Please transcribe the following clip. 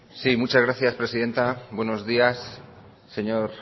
sí muchas gracias presidenta buenos días señor